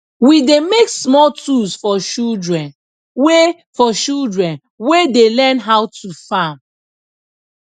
we dey make small tools for children wey for children wey dey learn how to farm